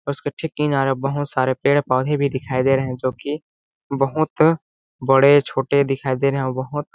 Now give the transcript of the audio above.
उसके ठीक किनारे बहुत सारे पेड़-पौधे भी दिखाई दे रहे हैं जो कि बहुत बड़े छोटे दिखाई दे रहे हैं और बहुत --